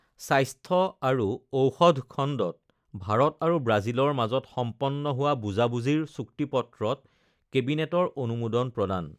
স্বাস্থ্য আৰু ঔষধখণ্ডত ভাৰত আৰু ব্ৰাজিলৰ মাজত সম্পন্ন হোৱা বুজাবুজিৰ চুক্তিপত্ৰত কেবিনেটৰ অনুমোদন প্ৰদান